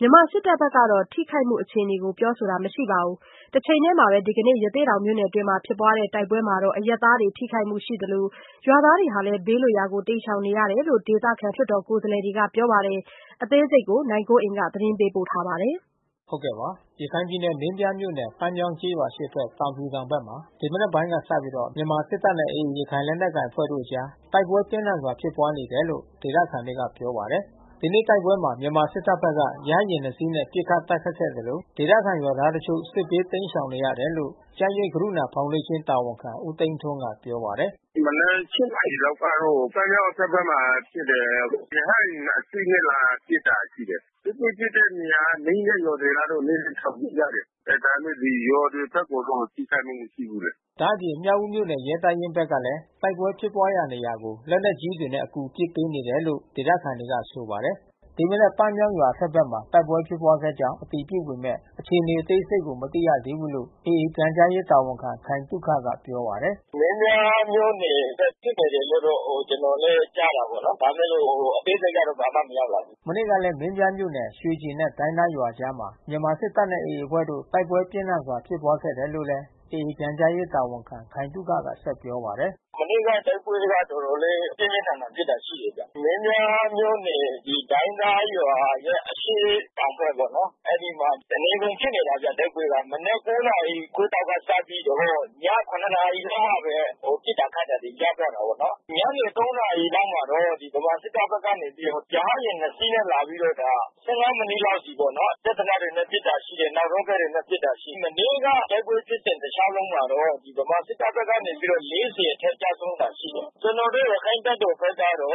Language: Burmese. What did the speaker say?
မြန်မာစစ်တပ်ဘက် ကတော့ ထိခိုက်မှု အခြေအနေကို ပြောဆိုတာ မရှိခဲ့ပါဘူး။ တချိန်ထဲမှာပဲ ဒီကနေ့ ရသေ့တောင်မြို့နယ်အတွင်း ဖြစ်ပွားတဲ့ တိုက်ပွဲမှာ အရပ်သားတွေထိခိုက်မှုရ ှိနေသလို ရွာသားတွေလည်း ဘေးလွတ်ရာကို တိမ်းရှောင်နေရတယ်လို့ ဒေသခံလွှတ်တော် ကိုယ်စားလှယ်တွေက ပြောပါတယ်။ ဗွီအိုအေသတင်းထောက် နိုင်ကွန်းအိန်ကနေဆက်သွယ်မေးမြန်း သတင်းပေးပို့ထားပါတယ်။ ရခိုင်ပြည်နယ်မင်းပြားမြို့နယ် ပန်းမြောင်းကျေးရွာအရှေ့ဘက် တောင်ဖြူတောင်ဘက်မှာ ဒီမနက်ပိုင်းကစပြီး မြန်မာစစ်တပ်နဲ့ AA ရခိုင်လက်နက်ကိုင်အဖွဲ့တို့အကြား တိုက်ပွဲပြင်းထန်ဖြစ်ပွါးနေတယ်လို့ ဒသခံတွေကပြောပါတယ်။ ဒီနေ့တိုက်ပွဲမှာမြန်မာစစ်တပ်ဘက်က ရဟတ်ယာဉ် နှစ်စီးနဲ့ ပစ်ခတ်တိုက်ခိုက်ခဲ့သလို ဒေသခံရွာသားတချို့ စစ်ဘေး တိမ်းရှောင်နေရတယ်လို့ ကျန်းရိပ်ကရုဏာဖေါင်ဒေးရှင်း တာဝန်ခံဦးသိန်းထွန်းက ပြောပါတယ်။ “ဒီမနက် ၈ နာရီကတော့ ပန်းမြောင်းအထက်ဘက်မှာ ဖြစ်တယ်။ ရဟတ်ယာဉ် နှစ် စီးနဲ့ လာပစ်တာ ရှိတယ်။ တိုက်ပွဲဖြစ်တဲ့နေရာ နီးတဲ့ရွာတွေကတော့ နည်းနည်း ထွက်ပြေးကြတယ်။ ဒါပေမဲ့ရွာတွေဘက်ကိုတော့ ထိခိုက်မှု မရှိဘူးလေ။” ဒါ့အပြင် မြောက်ဦးမြို့နယ် ရဲတပ်ရင်းဘက်ကလည်း တိုက်ပွဲဖြစ်ပွားရာ နေရာကို လက်နက်ကြီးတွေနဲ့ အကူ ပစ်ပေးနေတယ်လို့လည်း ဒေသခံတွေက ဆိုပါတယ်။ ဒီမနက် ပန်းမြောင်းရွာအထက်ဘက်မှာ တိုက်ပွဲဖြစ်ပွားခဲ့ကြောင်း အတည်ပြုပေမဲ့ အခြေနေအသေးစိတ်ကို မသိရသေးဘူးလို့ AA ပြန်ကြားရေး တာဝန်ခံခိုင်သုခက ပြောပါတယ်။ “ဒီနေ့မှာလည်း မင်းပြားမြို့နယ်ဘက် ဖြစ်နေတယ်လို့တော့ ကျနော်လည်း ကြားတာပေါ့နော်။ ဒါပေမဲ့လို့ အသေးစိတ်ကတော့ ဘာမှမရောက်လာသေးဘူး။” မနေ့ကလည်း မင်းပြားမြို့နယ် ရွှေကျင်နှင့် ဒိုင်းသားရွာအကြားမှာ မြန်မာစစ်တပ်နဲ့ AA အဖွဲ့တို့ တိုက်ပွဲပြင်းထန်စွာဖြစ်ပွားခဲ့တယ်လို့ AA ပြန်ကြားရေး တာဝန်ခံခိုင်သုခက ဆက်ပြောပါတယ်။ “မနေ့က တိုက်ပွဲကတော့ တော်တော်လေး ပြင်းပြင်းထန်ထန် ဖြစ်တာ ရှိတယ်ဗျ။ မင်းပြားမြို့နယ် ဒိုင်းသားရွာရဲ့ အရှေ့တောင်ဘက်ပေါ့နော် အဲဒီမှာ တနေကုန်ဖြစ်နေတာဗျ တိုက်ပွဲက။ မနက် ၉ နာရီခွဲလောက်က စပြီးတော့ ည ၇ ရောက်မှပဲ ပစ်တာခတ်တာတွေ ရပ်သွားတာပေါ့နော်။ ညနေ ၃ နာရီလောက်မှာတော့ ဗမာစစ်တပ်ဘက်ကနေပြီးတော့ ရဟတ်ယာဉ် နှစ်စီးနဲ့ လာပြီးတော့ ဒါ ၁၅ မိနစ်လောက်အထိပေါ့နော်။ စက်သေနတ်တွေနဲ့ ပစ်တာ ရှိတယ်။ နောက်ရော့ကက် တွေနဲ့ ပစ်တာ ရှိတယ်။ မနေ့က တိုက်ပွဲဖြစ်စဥ ်တလျှောက်လုံးမှာတော့ ဗမာစစ်တပ်ဘက်က နေပြီးတော့ ၄၀ အထက် ကျဆုံးတာ ရှိတယ်။ ကျနော်တို့ ရခိုင်တပ်တော်ဘက်ကတော့သုံး